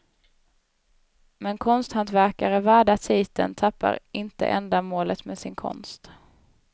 Men konsthantverkare värda titeln tappar inte ändamålet med sin konst.